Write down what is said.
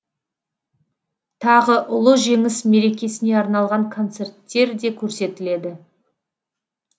тағы ұлы жеңіс мерекесіне арналған концерттер де көрсетіледі